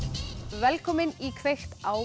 velkomin í kveikt á